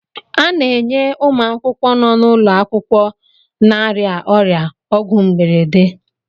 A na-enye ụmụ akwụkwọ nọ n'ụlọ akwụkwọ na-arịa ọrịa ọgwụgwọ mberede.